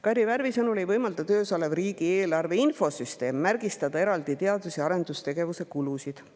Kairi Värvi sõnul ei võimalda töös olev riigieelarve infosüsteem märgistada eraldi teadus‑ ja arendustegevuse kulusid.